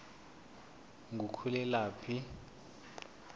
ngukhulelaphi